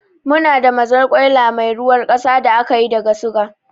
Muna da mazarkwaila mai ruwar kasa da ake yi daga suga